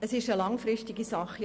Es ist eine langfristige Sache.